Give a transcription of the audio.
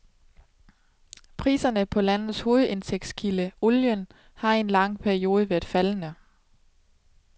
Priserne på landets hovedindtægtskilde, olien, har i en lang periode været faldende.